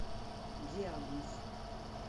диагноз